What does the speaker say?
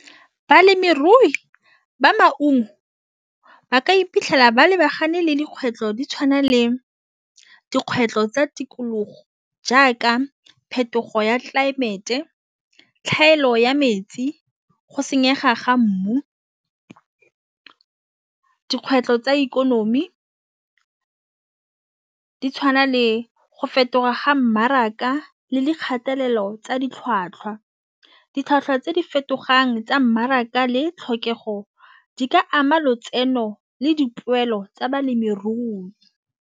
Balemirui ba maungo ba ka iphitlhela ba lebagane le dikgwetlho di tšhwana le dikgwetlho tsa tikologo jaaka phetogo ya tlelaemete tlhaelo ya metsi. Go senyega ga mmu dikgwetlho tsa ikonomi di tshwana le go fetoga ga mmaraka le le kgatelelo tsa ditlhwatlhwa. Ditlhwatlhwa tse di fetogang tsa mmaraka le tlhokego di ka ama lotseno le dipoelo tsa balemirui.